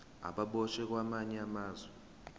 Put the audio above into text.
ababoshwe kwamanye amazwe